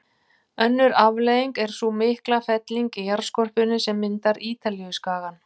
Önnur afleiðing er sú mikla felling í jarðskorpunni sem myndar Ítalíuskagann.